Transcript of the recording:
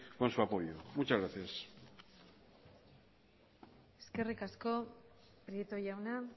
con su apoyo muchas gracias eskerrik asko prieto jauna